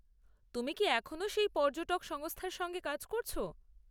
তুমি কি এখনো সেই পর্যটক সংস্থার সঙ্গে কাজ করছ?